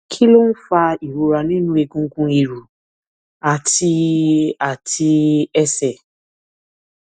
kí ló ń fa ìrora nínú egungun ìrù àti àti ẹsẹ